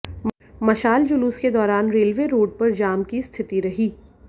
मशाल जुलूस के दौरान रेलवे रोड पर जाम की स्थिति रही